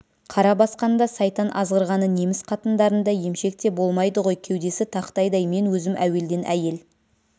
қара басқанда сайтан азғырғаны неміс қатындарында емшек те болмайды ғой кеудесі тақтайдай мен өзім әуелден әйел